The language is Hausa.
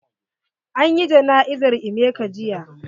An yi jana'izar emeka jiya.